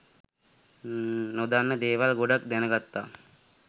නොදන්න දේවල් ගොඩක් දැනගත්තා